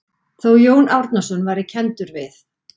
Þó Jón Árnason væri kenndur við